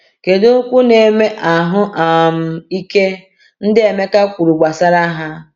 Kedu “okwu na-eme ahụ um ike” ndị Emeka kwuru gbasara ha?